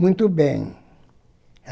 Muito bem.